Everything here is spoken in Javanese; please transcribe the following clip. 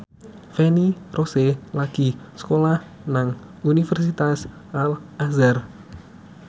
Feni Rose lagi sekolah nang Universitas Al Azhar